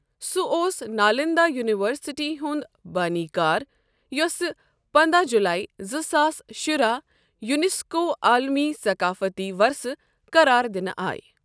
سہ اوس نالندہ یونیورسٹی ہُنٛد بٲنی کار یوٚسہٕ پنداہ جولائی زٕ ساس شُراہ یونیسکو عالمی ثقافتی ورثہ قرار دنہٕ آیہ۔